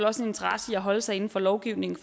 også en interesse i at holde sig inden for lovgivningen